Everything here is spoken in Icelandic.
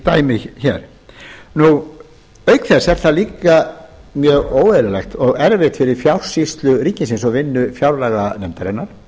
dæmi hér auk þess er það líka mjög óeðlilegt og erfitt fyrir fjársýslu ríkisins og vinnu fjárlaganefndarinnar